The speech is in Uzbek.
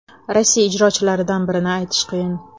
Rossiya ijrochilaridan birini aytish qiyin.